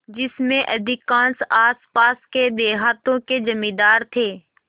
जिनमें अधिकांश आसपास के देहातों के जमींदार थे